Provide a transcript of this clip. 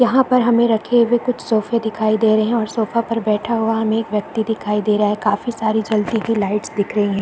यहाँ पर हमे रखे हुए कुछ सोफे दिखाई दे रहे है उस सोफा पर बैठा हुआ हमे एक व्यक्ति दिखाई दे रहा है काफी सारी जलती हुई लाइट्स दिख रही हैं।